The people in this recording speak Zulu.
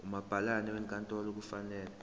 umabhalane wenkantolo kufanele